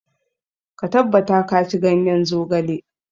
Ka tabbata ka ci ganyen zogale.